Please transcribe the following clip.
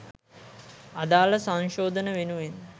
අදාළ සංශෝධන වෙනුවෙන්